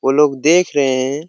वो लोग देख रहे हैं।